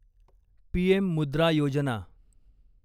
PM Mudra Yojana